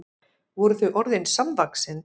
Voru þau orðin samvaxin?